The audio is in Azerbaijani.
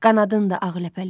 Qanadındır ağ ləpələr.